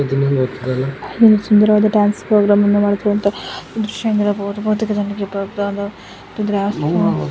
ಒಂದು ಸುಂದರವಾದ dance programme dance ಪ್ರೋಗ್ರಾಮನ್ನು ಬಹಳ ಸುಂದರವಾಗಿ ನೋಡುತ್ತಿರುವಂತಹ --